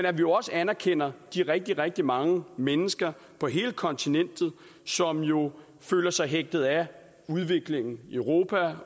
at vi også anerkender de rigtig rigtig mange mennesker på hele kontinentet som jo føler sig hægtet af udviklingen i europa